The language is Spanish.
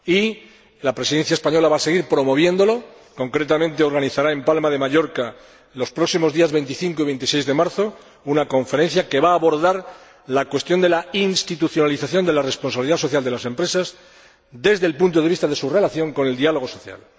Y la Presidencia española va a seguir promoviéndolo, concretamente organizará en Palma de Mallorca, los próximos días 25 y 26 de marzo, una conferencia que va abordar la cuestión de la institucionalización de la responsabilidad social de las empresas, desde el punto de vista de su relación con el diálogo social.